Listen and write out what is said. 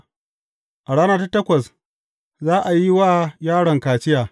A rana ta takwas, za a yi wa yaron kaciya.